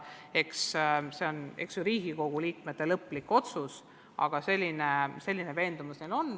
Eks Riigikogu liikmed teevad lõpliku otsuse, aga selline veendumus neil on.